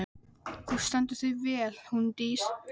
Þú stendur þig vel, Húndís!